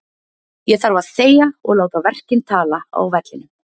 Ég þarf að þegja og láta verkin tala á velinum.